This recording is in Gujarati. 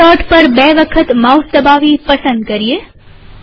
સ્મોલ દોટ પર બે વખત માઉસ દબાવી પસંદ કરીએ